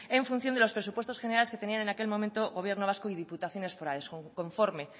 en función de los presupuestos generales que tenían en aquel momento gobierno vasco y diputaciones forales conforme